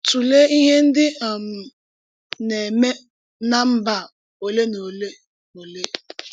Tùlèé íhè ndí um na-ème ná mbà ọ̀lè na ọ̀lè. ọ̀lè.